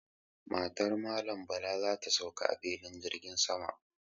Matar Malam Bala za ta sauka a filin jirgin sama.